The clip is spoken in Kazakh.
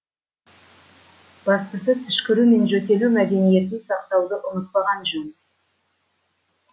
бастысы түшкіру мен жөтелу мәдениетін сақтауды ұмытпаған жөн